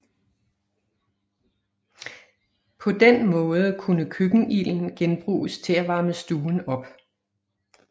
På den måde kunne køkkenilden genbruges til at varme stuen op